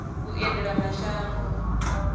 vhuendelamashango